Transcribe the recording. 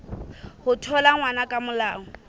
ho thola ngwana ka molao